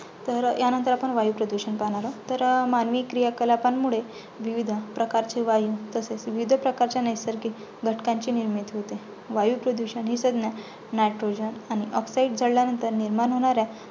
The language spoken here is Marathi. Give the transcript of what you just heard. तर ह्यानंतर आपण वायुप्रदूषण पाहणार आहोत. तर् मानवी क्रियाकलापांमुळे विविध प्रकारचे वायू तसेच विविध प्रकारच्या नैसर्गिक घटकांची निर्मिती होते. वायुप्रदूषण ही संज्ञा nitogen आणि oxide जळल्यानंतर निर्माण होणाऱ्या